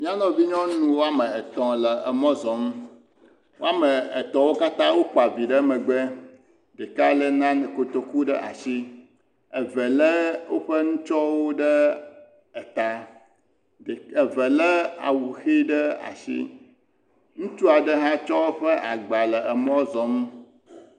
Míanɔvi nyɔnu woame etɔ̃ le mɔ zɔm woame etɔ̃ katã kpa vi ɖe megbe ɖeka lé nan..e kotoku ɖe asi eve lé woƒe nutsɔwo ɖe eta, ɖe.. eve lé awu ɖe asi, ŋutsu aɖe hã tsɔ eƒe agba le emɔ zɔm.